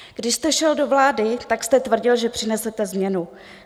Když jste šel do vlády, tak jste tvrdil, že přinesete změnu.